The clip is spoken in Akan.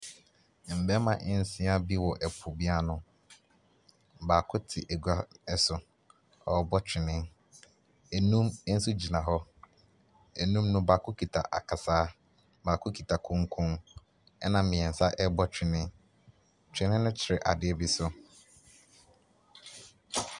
Mmarima nsia bi wɔ ɛpo bi ano. Baako te agua so, ɔrebɔ twene. Enum nso gyina hɔ, enum no baako kita akasaa, baako kita konkon ɛna mmiɛnsa rebɔ twene. Twene no twere adeɛ bi so.